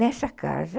Nessa casa...